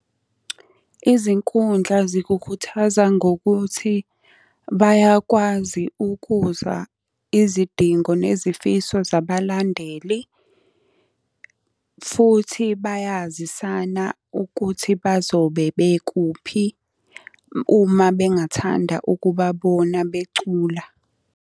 Izinkundla zikukhuthaza ngokuthi, bayakwazi ukuzwa izidingo nezifiso zabalandeli. Futhi bayazisana ukuthi bazobe bekuphi, uma bengathanda ukubabona becula.